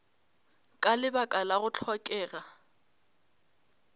ka lebaka la go hlokega